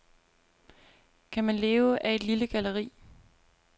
Kan man leve af et lille galleri?